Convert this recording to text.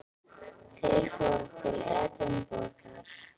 Þeir fóru til Edinborgar.